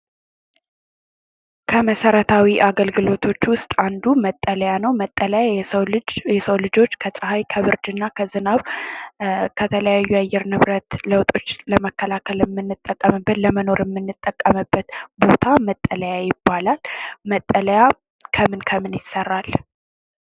ከ መሰረታዊ አገልግሎቶች ውስጥ አንዱ መጠለያ ነው። መጠለያ የሰው ልጆች ከፀሐይ ከብርድና ከዝናብ ከተለያዩ የአየር ንብረት ለውጦች ለመከላከል የምንጠቀምበት ለመኖር የምንጠቀምበት ቦታ መጠለያ ይባላል። መጠለያ ከምን ከምን ይሰራል?